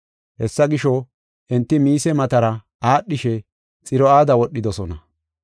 Hessa gisho, enti Miise matara aadhishe Xiro7aada wodhidosona.